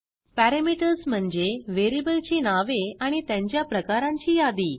parameters म्हणजे variable ची नावे आणि त्यांच्या प्रकरांची यादी